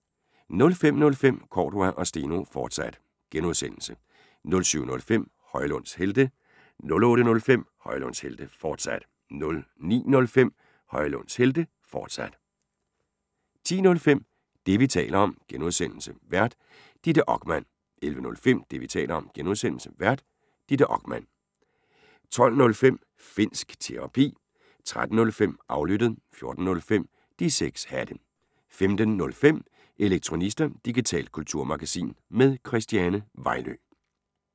05:05: Cordua & Steno, fortsat (G) 07:05: Højlunds Helte 08:05: Højlunds Helte, fortsat 09:05: Højlunds Helte, fortsat 10:05: Det, vi taler om (G) Vært: Ditte Okman 11:05: Det, vi taler om (G) Vært: Ditte Okman 12:05: Finnsk Terapi 13:05: Aflyttet 14:05: De 6 Hatte 15:05: Elektronista – digitalt kulturmagasin med Christiane Vejlø